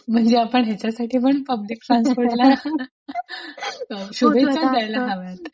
म्हणजे आपण याच्या साठी पण पब्लिक ट्रान्सपोर्ट चा unintelligible फोटो टाकतो.